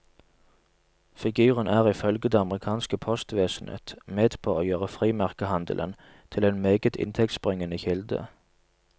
Figuren er ifølge det amerikanske postvesenet med på å gjøre frimerkehandelen til en meget inntektsbringende kilde.